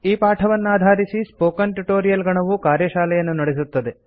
ಈ ಪಾಠವನ್ನಾಧಾರಿಸಿ spoken tutorial ಗಣವು ಕಾರ್ಯಶಾಲೆಯನ್ನು ನಡೆಸುತ್ತದೆ